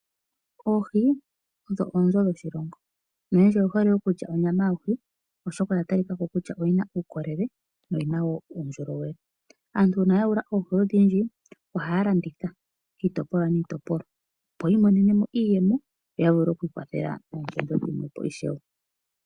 Oohi odho oonzo dhoshilongo, noyendji oye hole okulya onyama yohi oshoka oya talika ko kutya oyi na uukolele noyi na wo uundjolowele. Aantu uuna ya yula oohi odhindji, ohaya landitha kiitopolwa niitopolwa opo yamonemo iiyemo opo yavule okwiikwathela moompumbwe dhimwe ishewe.